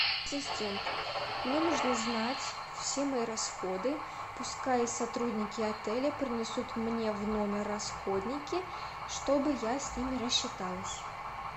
ассистент мне нужно знать все мои расходы пускай сотрудники отеля принесут мне в номер расходники чтобы я с ними рассчиталась